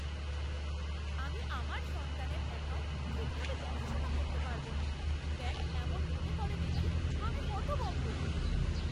আমি আমার সন্তানের অ্যাকাউন্ট ঠিকভাবে দেখাশোনা করতে পারবো না ব্যাঙ্ক এমন মনে করে দেখে আমি হতভম্ব।